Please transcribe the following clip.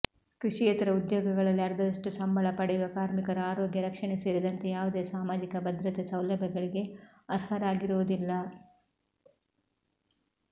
ಕೃಷಿಯೇತರ ಉದ್ಯೋಗಗಳಲ್ಲಿ ಅರ್ಧದಷ್ಟು ಸಂಬಳ ಪಡೆಯುವ ಕಾರ್ಮಿಕರು ಆರೋಗ್ಯ ರಕ್ಷಣೆ ಸೇರಿದಂತೆ ಯಾವುದೇ ಸಾಮಾಜಿಕ ಭದ್ರತೆ ಸೌಲಭ್ಯಗಳಿಗೆ ಅರ್ಹರಾಗಿರುವುದಿಲ್ಲ